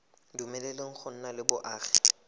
dumeleleng go nna le boagi